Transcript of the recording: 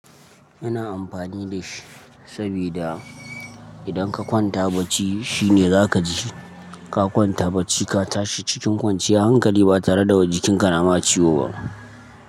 Ina amfani da shi sabida idan ka kwanta bacci shine za ka ji. Ka kwanta bacci ka tashi cikin kwanciyan hankali ba tare da wa jikinka nama ciwo ba.